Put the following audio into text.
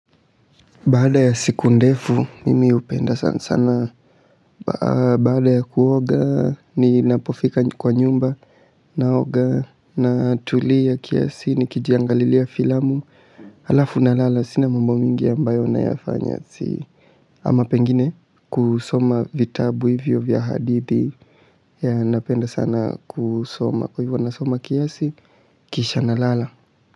Baada ya siku ndefu mimi hupenda sanasana. Baada ya kuoga ninapofika kwa nyumba ninaoga ninatulia kiasi nikijiangalilia filamu halafu ninalala sina mambo mingi ambayo ninayafanya ama pengine kusoma vitabu hivyo vya hadithi. Yeah ninapenda sana kusoma kwa hivyo ninasoma kiasi kisha ninalala.